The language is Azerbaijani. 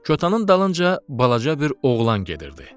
Kotanın dalınca balaca bir oğlan gedirdi.